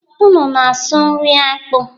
Unu na-asụ nri akpụ